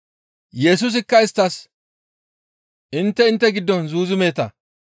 Yesusikka isttas, «Intte intte giddon zuuzumeeta.